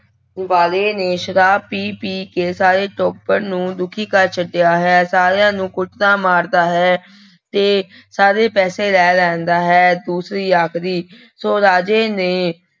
ਵਾਲੇ ਨੇ ਸ਼ਰਾਬ ਪੀ ਪੀ ਕੇ ਸਾਰੇ ਟੱਬਰ ਨੂੰ ਦੁਖੀ ਕਰ ਛੱਡਿਆ ਹੈ, ਸਾਰਿਆਂ ਨੂੰ ਕੁੱਟਦਾ ਮਾਰਦਾ ਹੈ, ਤੇ ਸਾਰੇ ਪੈਸੇ ਲੈ ਲੈਂਦਾ ਹੈ, ਦੂਸਰੀ ਆਖਦੀ ਸੋ ਰਾਜੇ ਨੇ